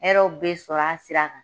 Hɛrɛw bɛ sɔrɔ a sira kan